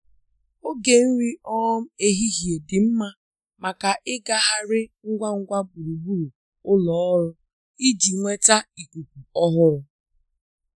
Oge nri um ehihie dị mma maka ịgagharị ngwa ngwa gburugburu ụlọ ọrụ iji nweta ikuku ọhụrụ.